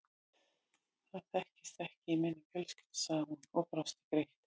Það þekkist ekki í minni fjölskyldu sagði hún og brosti gleitt.